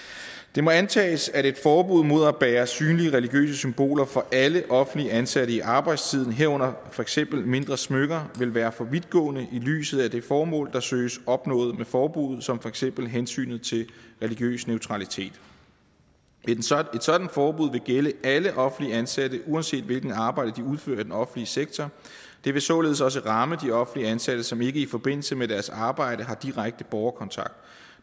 det må antages at et forbud mod at bære synlige religiøse symboler for alle offentligt ansatte i arbejdstiden herunder for eksempel mindre smykker vil være for vidtgående i lyset af det formål der søges opnået med forbuddet som for eksempel hensynet til religiøs neutralitet et sådant forbud vil gælde alle offentligt ansatte uanset hvilket arbejde de udfører i den offentlige sektor det vil således også ramme de offentligt ansatte som ikke i forbindelse med deres arbejde har direkte borgerkontakt